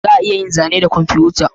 Za a iya yin zane da kwamfuta